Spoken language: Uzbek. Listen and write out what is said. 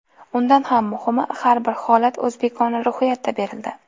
Undan ham muhimi, har bir holat o‘zbekona ruhiyatda berildi.